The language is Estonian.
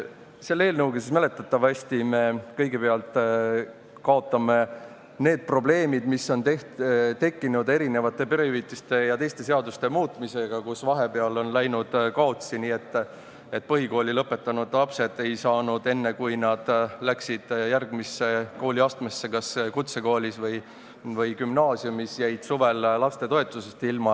Selle eelnõuga mäletatavasti me kõigepealt kaotame need probleemid, mis on tekkinud perehüvitiste ja teiste seaduste muutmisega, kus vahepeal on läinud üht-teist kaotsi, nii et põhikooli lõpetanud lapsed jäid, kui nad läksid järgmisse kooliastmesse, kas kutsekooli või gümnaasiumi, suvel lastetoetusest ilma.